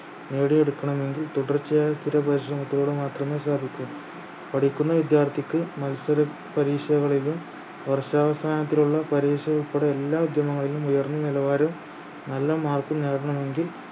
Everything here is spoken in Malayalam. നേടിയെടുക്കണമെങ്കിൽ തുടർച്ചയായ സ്ഥിര പരിശ്രമത്തിലൂടെ മാത്രമേ സാധിക്കു പഠിക്കുന്ന വിദ്യാർത്ഥിക്ക് മത്സര പരീക്ഷകളിലും വർഷാവസാനത്തിലുള്ള പരീക്ഷ ഉൾപ്പെടെ എല്ലാ ഉദ്യമങ്ങളിലും ഉയർന്ന നിലവാരവും നല്ല mark ഉം നേടണമെങ്കിൽ